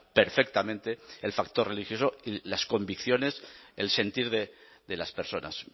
perfectamente el factor religioso y las convicciones el sentir de las personas